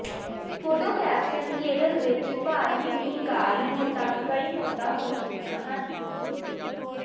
photo caption Kerala ਵਿੱਚ ਭਾਰੀ ਮੀਂਹ ਕਾਰਨ ਹੁਣ ਤੱਕ ਕਈ ਮੌਤਾਂ ਹੋ ਚੁੱਕੀਆਂ ਹਨ